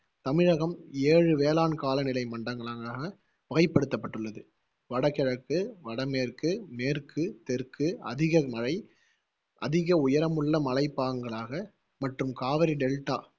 தமிழகம் ஏழு வேளாண் காலநிலை மண்டங்க~ களாக வகைப்படுத்தப் பட்டுள்ளது வடகிழக்கு, வடமேற்கு, மேற்கு, தெற்கு, அதிக மழை, அதிக உயரமுள்ள மலைப்பாங்காக மற்றும் காவேரி டெல்டா